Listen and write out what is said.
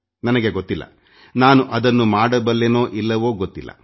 ನನಗೆ ಅದನ್ನು ಮಾಡಲು ಸಾಧ್ಯವೋ ಇಲ್ಲವೋ ಗೊತ್ತಿಲ್ಲ